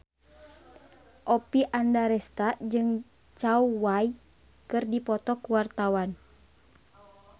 Oppie Andaresta jeung Zhao Wei keur dipoto ku wartawan